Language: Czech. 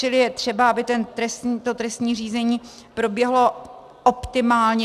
Čili je třeba, aby to trestní řízení proběhlo optimálně.